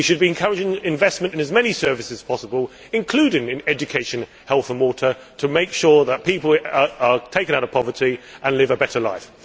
We should be encouraging investment in as many services possible including in education, health and water to make sure that people are taken out of poverty and live a better life.